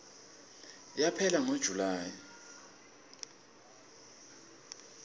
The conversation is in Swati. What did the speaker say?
yaphela ngo july